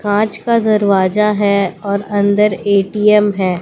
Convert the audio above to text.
कांच का दरवाजा है और अंदर ए_टी_एम है।